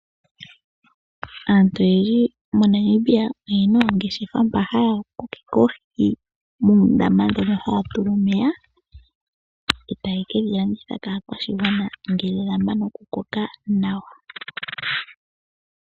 Aantu oyendji moNamibia oyena oongeshefa mpa haya kunu oohi muundama mboka haya tula oohi dhomeya, etaye kedhi landitha kaakwashigwana ngele dhamana okukoka nawa.